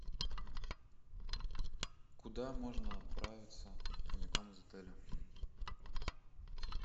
куда можно отправиться прямиком из отеля